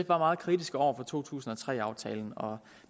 var meget kritiske over for to tusind og tre aftalen og